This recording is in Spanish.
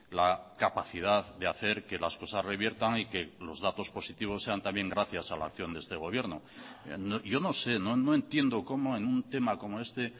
la capacidad de hacer que las cosas reviertan y que los datos positivos sean también gracias a la acción de este gobierno yo no sé no entiendo cómo en un tema como este